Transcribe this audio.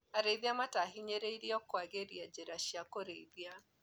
Arĩithia marahinyĩrĩrio kwagĩria njĩra cia kũrĩithia.